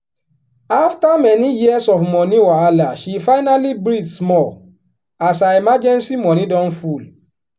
after many years of money wahala she finally breathe small as her emergency money don full.